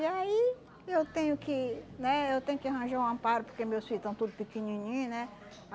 E aí eu tenho que né eu tenho que arranjar um amparo porque meus filho estão tudo pequenininho, né?